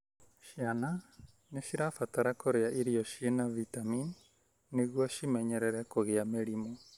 Ciana nĩ cibataraga kũria irio cĩina vitamin nĩguo cĩimenyerere kũgĩa mĩrimũ.